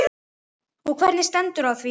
Og hvernig stendur á því?